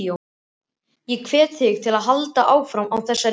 Ég hvet þig til að halda áfram á þessari braut.